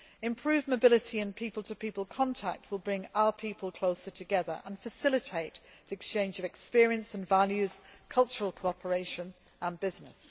Improved mobility and people to people contacts will bring our people closer together and facilitate the exchange of experience and values, cultural cooperation and business.